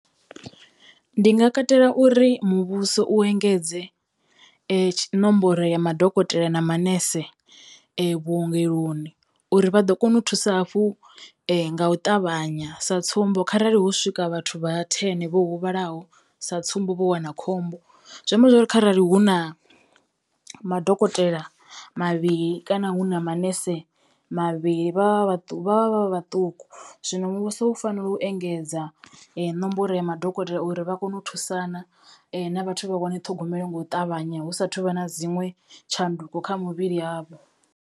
Ndi nga katela uri muvhuso u engedze tshi nomboro ya madokotela na manese vhuongeloni uri vha ḓo kona u thusa hafhu nga u ṱavhanya sa tsumbo, kharali hu swika vhathu vha thene vho huvhalaho sa tsumbo, vho wana khombo zwi amba zwori kharali hu na madokotela mavhili kana hu na manese mavhili vha vhaṱu vha vha vha vhaṱuku muvhuso u fanela u engedza nomboro ya madokotela uri vha kono u thusana na vhathu vha wane ṱhogomelo ngou ṱavhanya hu sathu vha na dziṅwe tshanduko kha muvhili yavho.